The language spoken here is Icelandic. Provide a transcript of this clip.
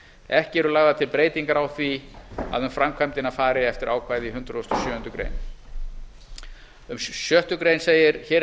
ekki eru lagðar til breytingar á því að um framkvæmdina fari eftir ákvæði hundrað og sjöundu greinar um sjöttu grein segir hér er